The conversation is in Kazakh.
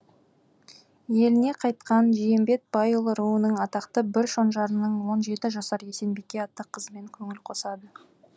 еліне қайтқан жиембет байұлы руының атақты бір шонжарының он жеті жасар есенбике атты қызымен көңіл қосады